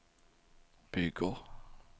bygger